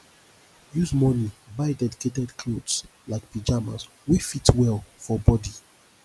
use money buy dedicated clothes like pyjamas wey fit well for body